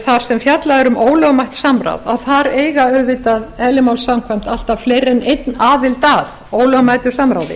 þar sem fjallað er um ólögmætt samráð eiga auvðitað eðli máls samkvæmt alltaf fleiri en einn aðild að ólögmætu samráði